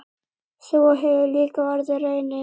Sú hefur líka orðið raunin.